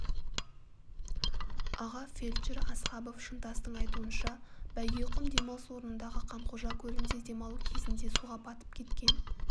аға фельдшері асхабов шынтастың айтуынша бәйгеқұм демалыс орнындағы қанқожа көлінде демалу кезінде суға батып кеткен